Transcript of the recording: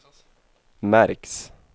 märks